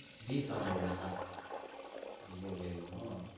B Seven virus ஸ்ஸா அய்ய அய்யை யையோ